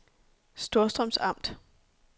Storstrøms Amt